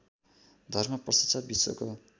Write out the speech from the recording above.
धर्म पश्चात् विश्वको